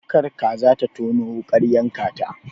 Kar kaza ta tono wuƙar yanka ta.